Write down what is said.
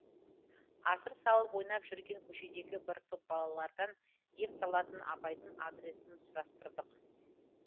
асыр салып ойнап жүрген көшедегі бір топ балалардан дем салатын апайдың адресін сұрастырдық